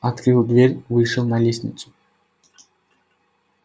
открыл дверь вышел на лестницу